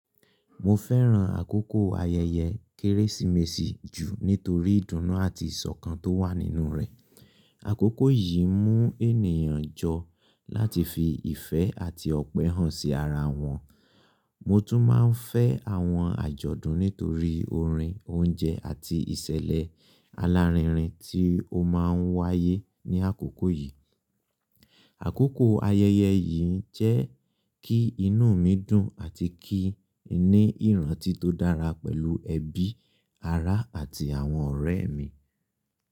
Mo fẹ́ràn àkókò ayẹyẹ Kérésìmesì jù, nítorí ìdùnnú àti ìṣọ̀kan tó wà nínú rẹ̀. Àkókò yìí mú ènìyàn jọ, láti fi ìfẹ́ àti ọ̀pẹ hàn sí ara wọn. Mo tún máa ń fẹ́ àwọn àjọ̀dún nítorí orin, oúnjẹ, àti ìṣẹ̀lẹ̀ alárinrin tí ó máa ń wáyé ní àkókò yìí. Àkókò ayẹyẹ yìí jẹ́ kí inú mi dùn àti kí n ní ìrántí tó dára pẹ̀lú ẹbí, ará, àti àwọn ọ̀rẹ́ mi.